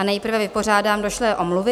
A nejprve vypořádám došlé omluvy.